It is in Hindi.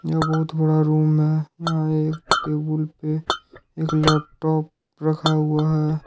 जो बहुत बड़ा रूम है यहां एक टेबुल पे एक लैपटॉप रखा हुआ है।